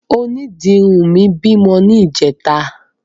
Onídìrí mi bímọ ní ìjẹta.